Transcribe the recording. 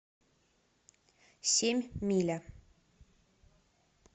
семь миля